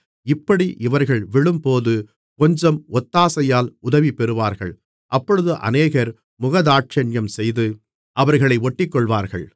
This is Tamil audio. இப்படி அவர்கள் விழும்போது கொஞ்சம் ஒத்தாசையால் உதவிபெறுவார்கள் அப்பொழுது அநேகர் முகதாட்சணியம்செய்து அவர்களை ஒட்டிக்கொள்வார்கள்